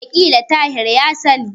Wataƙila Tahir ya sani.